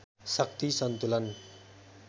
शक्ति सन्तुलन